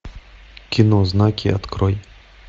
кино знаки открой